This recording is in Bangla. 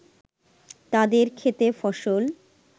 তাদের ক্ষেতে ফসল